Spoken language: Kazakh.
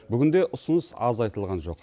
бүгінде ұсыныс аз айтылған жоқ